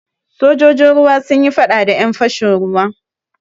Sojojin ruwa sun yi faɗa da ƴan fashin ruwa.